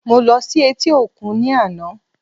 Mo ló sí etí òkun ní àná